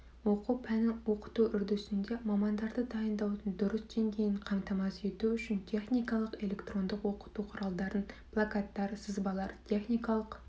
оқу пәнін оқыту үрдісінде мамандарды дайындаудың дұрыс деңгейін қамтамасыз ету үшін техникалық электрондық оқыту құралдары плакаттар сызбалар техникалық